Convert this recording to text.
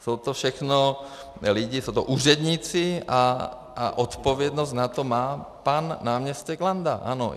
Jsou to všechno lidi, jsou to úředníci a odpovědnost za to má pan náměstek Landa, ano.